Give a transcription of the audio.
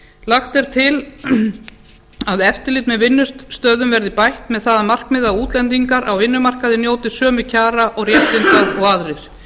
lagt er til að eftirlit með vinnustöðum verði bætt með það að markmiði að útlendingar á vinnumarkaði njóti sömu kjara og réttinda og aðrir